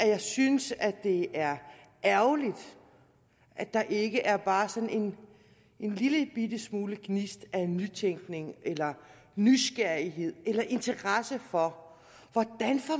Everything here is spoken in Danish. jeg synes at det er ærgerligt at der ikke er bare sådan en lillebitte smule gnist af nytænkning eller nysgerrighed eller interesse for hvordan